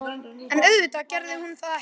En auðvitað gerði hún það ekki.